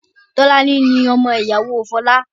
Tolani ni ọmọ ìyàwó Fola